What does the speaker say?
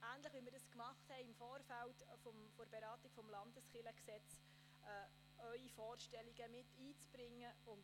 Ähnlich wie im Vorfeld der Beratung des LKG werden Sie Ihre Vorstellungen miteinbringen können.